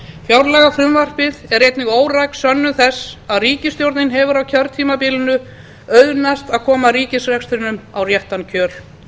fjárlagafrumvarpið er einnig óræk sönnun þess að ríkisstjórninni hefur á kjörtímabilinu auðnast að koma ríkisrekstrinum á réttan kjöl